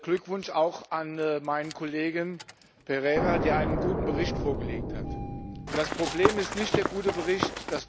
Glückwunsch auch an meinen Kollegen Silva Pereira, der einen guten Bericht vorgelegt hat. Das Problem ist nicht der gute Bericht.